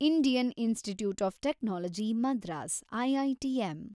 Indian institute of technology Madras, IITM